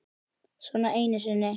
Svona einu sinni.